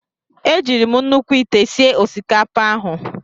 E jiiri m nnukwu ite sie osikapa ahụ.